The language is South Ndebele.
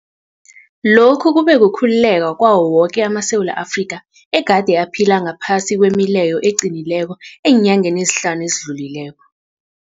Lokhu kube kukhululeka kwawo woke amaSewula Afrika egade aphila ngaphasi kwemileyo eqinileko eenyangeni ezihlanu ezidlulileko.